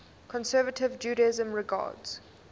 conservative judaism regards